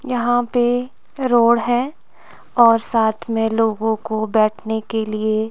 यहाँ पे रोड हैं और साथ मैं लोगों को बैठने के लिए--